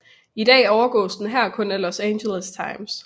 I dag overgås den her kun af Los Angeles Times